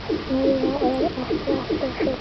Meira er ekki alltaf betra.